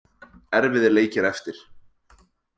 Erfiðir leikir eftir.